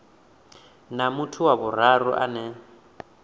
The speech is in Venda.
na muthu wa vhuraru ane